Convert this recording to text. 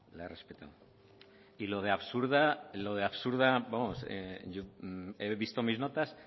la he respetado y lo de absurda he visto mis notas